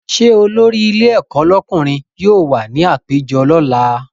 Ṣé olórí ilé ẹ̀kọ́ lọ́kùnrin yóò wà ní àpéjọ lọ́la?